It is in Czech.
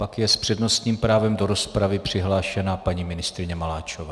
Pak je s přednostním právem do rozpravy přihlášena paní ministryně Maláčová.